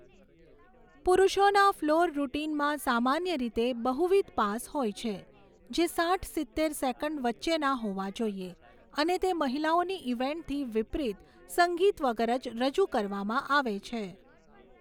પુરૂષોના floor રૂટિનમાં સામાન્ય રીતે બહુવિધ પાસ હોય છે, જે સાઈઠ સિત્તેર સેકન્ડ વચ્ચેના હોવા જોઈએ અને તે મહિલાઓની ઇવેન્ટથી વિપરીત સંગીત વગર જ રજૂ કરવામાં આવે છે.